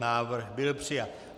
Návrh byl přijat.